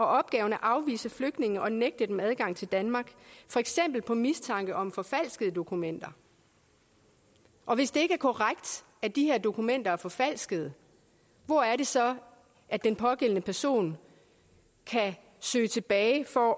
opgave at afvise flygtninge og nægte dem adgang til danmark for eksempel på mistanke om forfalskede dokumenter og hvis det ikke korrekt at de her dokumenter er forfalskede hvor er det så at den pågældende person kan søge tilbage for